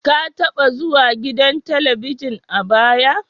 Ka taba zuwa gidan Talabijin a baya?